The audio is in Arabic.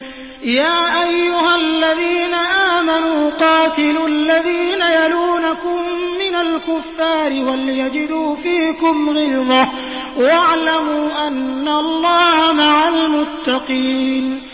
يَا أَيُّهَا الَّذِينَ آمَنُوا قَاتِلُوا الَّذِينَ يَلُونَكُم مِّنَ الْكُفَّارِ وَلْيَجِدُوا فِيكُمْ غِلْظَةً ۚ وَاعْلَمُوا أَنَّ اللَّهَ مَعَ الْمُتَّقِينَ